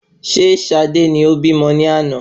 Ìyá Sade ni o bímọ ni àná